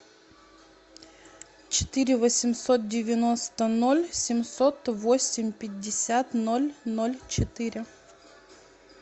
четыре восемьсот девяносто ноль семьсот восемь пятьдесят ноль ноль четыре